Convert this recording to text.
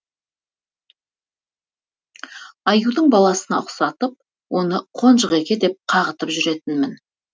аюдың баласына ұқсатып оны қонжықеке деп қағытып жүретінмін